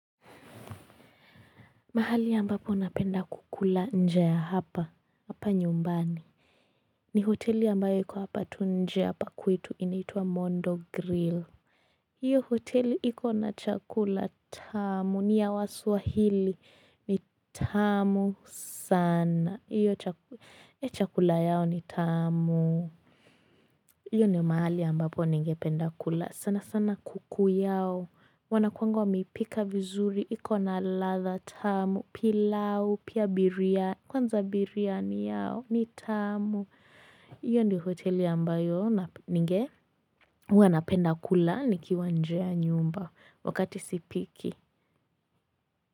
Mahali ambapo napenda kukula njaa ya hapa, hapa nyumbani. Ni hoteli ambayo iko hapa tu nje hapa kwetu inaitwa Mondo Grill. Hiyo hoteli iko na chakula tamu, ni ya waswahili, ni tamu sana. Hiyo chakula yao ni tamu. Hiyo ni mahali ambapo ningependa kula, sana sana kuku yao. Wanakuangwa wameipika vizuri, iko na ladha tamu, pilau, pia biryani, kwanza biryani yao, ni tamu. Iyo ndio hoteli ambayo, ninge? Huwa napenda kula nikiwa nje ya nyumba wakati sipiki.